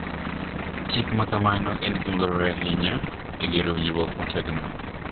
Chik ma kamano en gima dwarore ahinya e gero winjruok motegno,